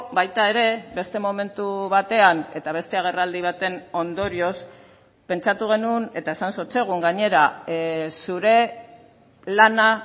baita ere beste momentu batean eta beste agerraldi baten ondorioz pentsatu genuen eta esan zotzegun gainera zure lana